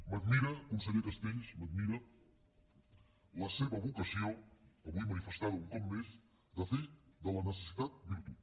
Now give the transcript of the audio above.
m’admira conseller castells m’admira la seva vocació avui manifestada un cop més de fer de la necessitat virtut